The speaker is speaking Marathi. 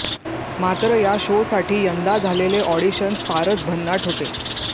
मात्र या शोसाठी यंदा झालेले ऑडिशन्स फारच भन्नाट होते